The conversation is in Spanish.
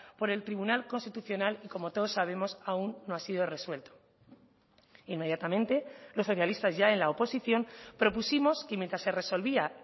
por el tribunal constitucional y como todos sabemos aún no ha sido resuelto inmediatamente los socialistas ya en la oposición propusimos que mientras se resolvía